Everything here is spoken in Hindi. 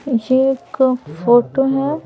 ये एक फोटो हैं।